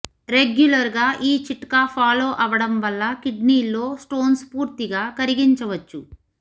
regular గా ఈ చిట్కా ఫాలో అవడం వల్ల కిడ్నీల్లో స్టోన్స్ పూర్తీగా కరిగించవచ్చు